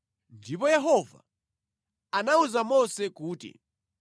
Ndipo Yehova anawuza Mose kuti,